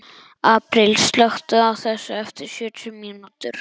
Apríl, slökktu á þessu eftir sjötíu mínútur.